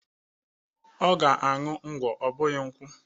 O ga-aṅụ ngwọ ọ bụghị nkwụ.